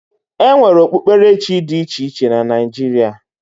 E nwere okpukperechi dị iche iche na Naijiria.